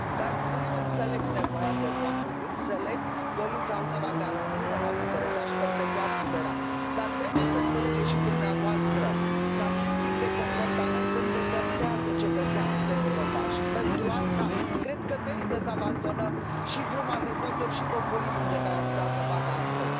Dar eu înțeleg nevoia de voturi, înțeleg dorința unora de a rămâne la putere, de a și perpetua puterea, dar trebuie să înțelegeți și dumneavoastră că acest tip de comportament îndepărtează cetățeanul de Europa și, pentru asta, cred că merită să abandonăm și bruma de voturi și populismul de care ați dat dovadă astăzi.